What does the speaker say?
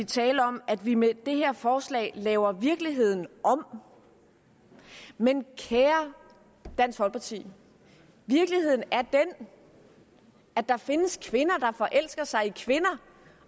tale om at vi med det her forslag laver virkeligheden om men kære dansk folkeparti virkeligheden er den at der findes kvinder der forelsker sig i kvinder